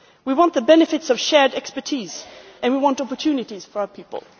We want the benefits of shared expertise and we want opportunities for our people.